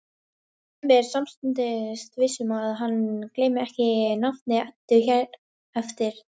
Hemmi er samstundis viss um að hann gleymir ekki nafni Eddu hér eftir.